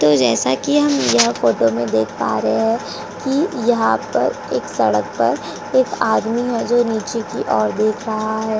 तो जैसा कि हम यह फोटो में देख पा रहे हैं कि यहां पर एक सड़क पर एक आदमी है जो नीचे को ओर देख रहा है।